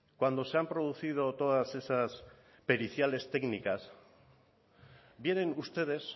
cuando se han producido todas esas periciales técnicas vienen ustedes